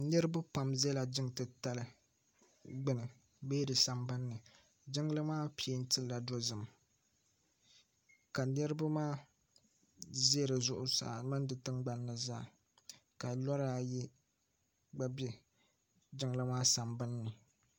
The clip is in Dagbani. Niribi pam ʒala niŋ ti tali gbuni bee di san Bani. jiŋli pɛɛntila dozim ka niribi maa ʒa dizuɣu saa mini di tiŋ gban nizaa kalɔra ayi gba be jiŋli maa san ban ni.